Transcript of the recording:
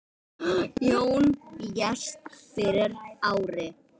Jón lést fyrir ári.